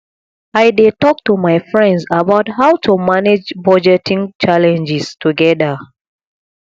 i dey talk to my friends about how to manage budgeting challenges together